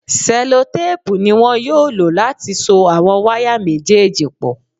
Sẹlotéèpù ni wọn yóò lò láti so àwọn wáyà méjèèjì pọ̀